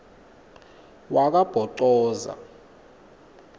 wakabhocoza